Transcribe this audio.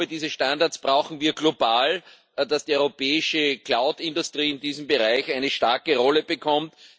Diese Standards brauchen wir global, damit die europäische Cloud Industrie in diesem Bereich eine starke Rolle bekommt.